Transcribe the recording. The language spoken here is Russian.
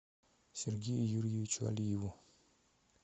сергею юрьевичу алиеву